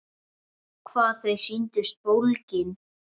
Hvað þau sýndust bólgin!